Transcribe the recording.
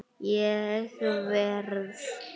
Ég verð!